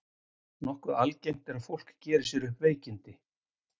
nokkuð algengt er að fólk geri sér upp veikindi